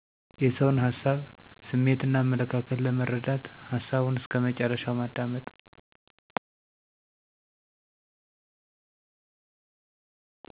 የሰውን ሀሳብ : ስሜትና አመለካከት ለመረዳት ሀሳቡን እስከ መጨረሻው ማዳመጥ